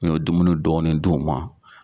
N ye dumuni dɔɔni d'u ma.